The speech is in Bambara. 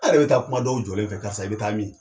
An' yɛrɛ bɛ taa kuma dɔw jɔlen fɛ, karisa i bɛ taa min?